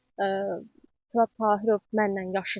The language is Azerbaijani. Furat Tahirov mənlə yaşıddır.